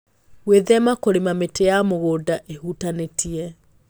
Gwĩthema kũrĩma mĩtĩ ya mũgũnda ĩhutanĩtie